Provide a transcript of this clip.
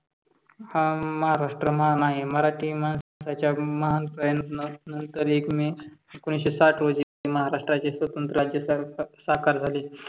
हा महाराष्ट्र महान आहे मराठी माणसाच्या महान प्रयत्ना नंतर एक मे एकोणविशे साठ रोजी महाराष्ट्राचे स्वतंत्र राज्य साकार झाले.